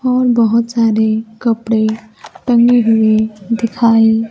और बहोत सारे कपड़े टंगे हुए दिखाई--